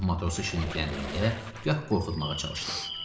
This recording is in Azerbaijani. Gah matrosu şirinlikləndirməyə, gah qorxutmağa çalışdı.